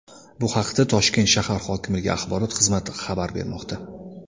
Bu haqda Toshkent shahar hokimligi Axborot xizmati xabar bermoqda .